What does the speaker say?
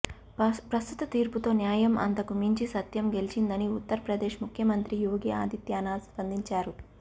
ప్రస్తుత తీర్పుతో న్యాయం అంతకు మించి సత్యం గెలిచిందని ఉత్తర ప్రదేశ్ ముఖ్యమంత్రి యోగి ఆదిత్యానాథ్ స్పందించారు